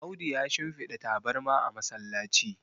Audu ya shimfada tabarma a masallaci